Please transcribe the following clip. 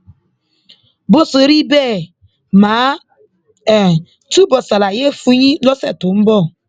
bó ṣe rí bẹẹ mà á túbọ ṣàlàyé ẹ fún yín lọsẹ tó ń bọ